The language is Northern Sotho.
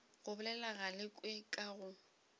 go bolela galekwe nka go